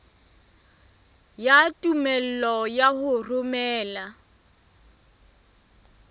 ya tumello ya ho romela